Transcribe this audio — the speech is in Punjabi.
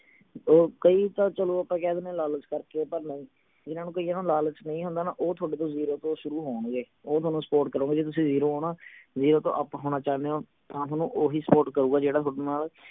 ਉਹ ਕਈ ਤਾਂ ਚਲੋ ਆਪਾਂ ਕਹਿ ਦਿੰਨੇ ਆ ਲਾਲਚ ਕਰਕੇ ਪਰ ਨਹੀਂ ਜਿੰਨਾ ਨੂੰ ਕਈਆਂ ਨੂੰ ਲਾਲਚ ਨਹੀਂ ਹੁੰਦਾ ਨਾ ਉਹ ਥੋਡੇ ਤੋਂ ਜ਼ੀਰੋ ਤੋਂ ਸ਼ੁਰੂ ਹੋਣਗੇ ਉਹ ਥੋਨੂੰ support ਕਰਣਗੇ ਜਿਦੋਂ ਤੁਸੀਂ ਜ਼ੀਰੋ ਹੋ ਨਾ ਜੇ ਓਹਤੋਂ up ਹੋਣਾ ਚਾਹਣੇ ਹੋ ਤਾਂ ਥੋਨੂੰ ਓਹੀ support ਕਰੂਗਾ ਜਿਹੜਾ ਥੋਡੇ ਨਾਲ